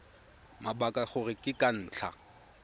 mabaka gore ke ka ntlha